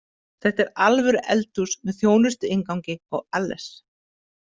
Þetta er alvöru eldhús, með þjónustuinngangi og alles